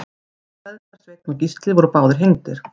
þeir feðgar sveinn og gísli voru báðir hengdir